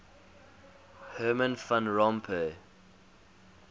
herman van rompuy